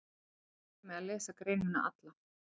Ég mæli með að lesa greinina alla.